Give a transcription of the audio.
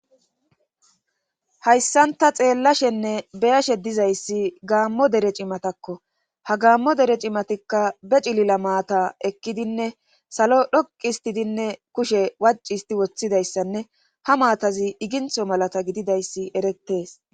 Hayssanta xeellashenne beyashe dizayssi gaammo dere cimatakko. ha gaammo dere cimatikka be cilila maata ekkidinne salo dhoqi histidinne kushe wacc isti woththidayssanne ha maatazi igintho malatta gididayssi erettees.